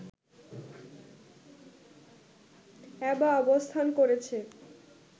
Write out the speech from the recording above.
অ্যাবা অবস্থান করেছে